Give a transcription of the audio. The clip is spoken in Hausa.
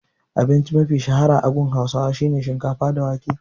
Abinci mafi shahara a gurin hausawa shine shikafa da wake.